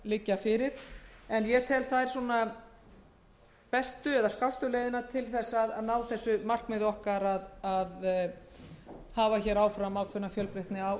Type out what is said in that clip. liggja fyrir en ég tel þær skástu leiðina til að ná því markmiði okkar að hafa hér ákveðna fjölbreytni á